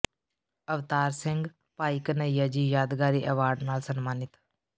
ਅਵਤਾਰ ਸਿੰਘ ਭਾਈ ਘਨ੍ਹਈਆ ਜੀ ਯਾਦਗਾਰੀ ਐਵਾਰਡ ਨਾਲ ਸਨਮਾਨਿਤ